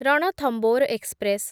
Ranthambore express